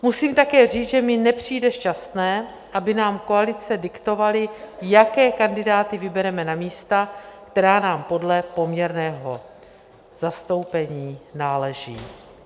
Musím také říct, že mi nepřijde šťastné, aby nám koalice diktovaly, jaké kandidáty vybereme na místa, která nám podle poměrného zastoupení náleží.